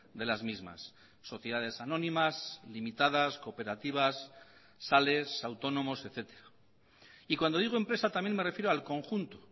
de las mismas sociedades anónimas limitadas cooperativas sales autónomos etcétera y cuando digo empresa también me refiero al conjunto